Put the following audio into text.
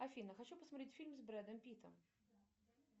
афина хочу посмотреть фильм с брэдом питтом